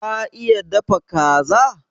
Ka iya dafa Kaza?